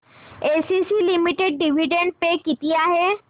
ACC limited dividend pay किती आहे